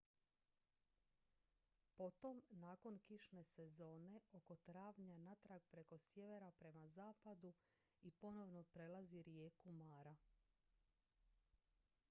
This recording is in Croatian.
potom nakon kišne sezone oko travnja natrag preko sjevera prema zapadu i ponovno prelazi rijeku mara